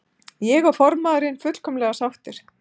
Ég og formaðurinn fullkomlega sáttir.